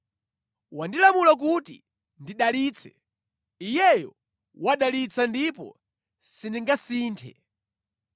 Wandilamula kuti ndidalitse, Iyeyo wadalitsa ndipo sindingasinthe.